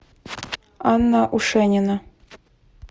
анна ушенина